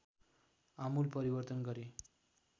आमूल परिवर्तन गरे